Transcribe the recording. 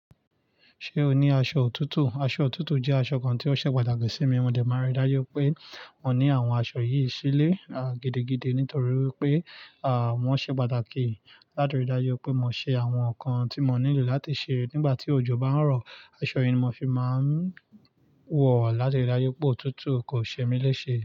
Ṣé o ní aṣọ òtútù? Aṣọ òtútù jẹ́ aṣọ kan tí ó ṣe pàtàkì sí mi. Mo dẹ̀ máa ń rí dájú wipé mo ní àwọn aṣọ yìí sílé, gidi-gidi nítorí wípé, wọ́n ṣe pàtàkì. Látirí dájú wipé mo ṣe àwọn nǹkan tí mo nílò láti ṣe nígbà tí òjò bá ń rọ, aṣọ yìí ni mo fi máa ń wọ̀, láti rí dájú wipé òtútù kò ṣe mí léṣe.